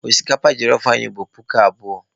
Osikapa jelọf anyị bụ puku abụọ.